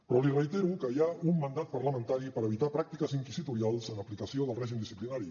però li reitero que hi ha un mandat parlamentari per evitar pràctiques inquisitorials en aplicació del règim disciplinari